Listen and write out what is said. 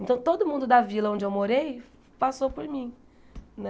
Então, todo mundo da vila onde eu morei passou por mim, né?